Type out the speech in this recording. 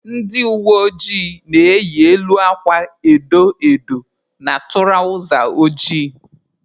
Ndị uweojii na-eyi elu akwa edo edo na tụrawza ojii.